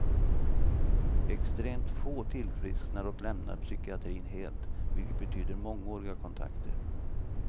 Extremt få tillfrisknar och lämnar psykiatrin helt, vilket betyder mångåriga kontakter.